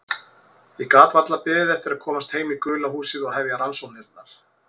Ég gat varla beðið eftir að komast heim í gula húsið og hefja rannsóknirnar.